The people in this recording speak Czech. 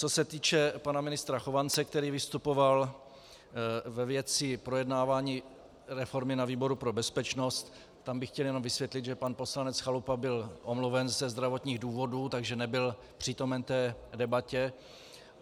Co se týče pana ministra Chovance, který vystupoval ve věci projednávání reformy na výboru pro bezpečnost, tam bych chtěl jenom vysvětlit, že pan poslanec Chalupa byl omluven ze zdravotních důvodů, takže nebyl přítomen té debatě.